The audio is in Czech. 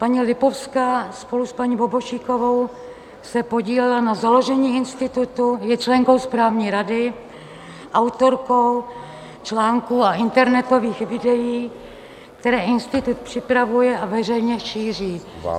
Paní Lipovská spolu s paní Bobošíkovou se podílela na založení institutu, je členkou správní rady, autorkou článků a internetových videí, které institut připravuje a veřejně šíří.